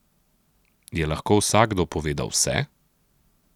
Je lahko vsakdo povedal vse?